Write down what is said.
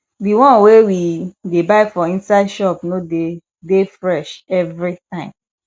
di one wey we dey buy for inside shop no dey dey fresh evritime